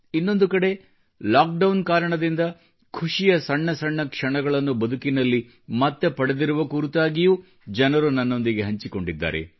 ಇನ್ನೊಂದು ಕಡೆ ಲಾಕ್ಡೌನ್ ಕಾರಣದಿಂದ ಖುಷಿಯ ಸಣ್ಣ ಸಣ್ಣ ಕ್ಷಣಗಳನ್ನು ಬದುಕಿನಲ್ಲಿ ಮರು ಪಡೆದಿರುವ ಕುರಿತಾಗಿಯೂ ಜನರು ನನ್ನೊಂದಿಗೆ ಹಂಚಿಕೊಂಡಿದ್ದಾರೆ